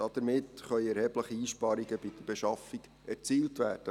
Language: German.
Damit können erhebliche Einsparungen bei der Beschaffung erzielt werden.